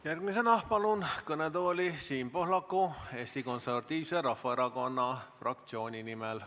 Järgmisena palun kõnetooli Siim Pohlaku Eesti Konservatiivse Rahvaerakonna fraktsiooni nimel.